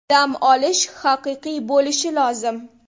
Dam olish haqiqiy bo‘lishi lozim.